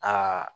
Aa